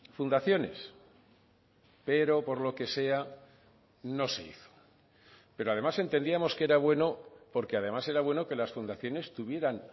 fundaciones pero por lo que sea no se hizo pero además entendíamos que era bueno porque además era bueno que las fundaciones tuvieran